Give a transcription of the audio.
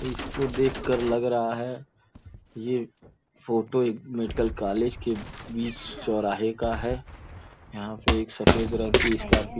इसको देखकर लग रहा है ये फोटो एक मेडिकल कॉलेज के बीच चौराहे का है यहां पे एक सफेद रंग की स्कार्पिंग --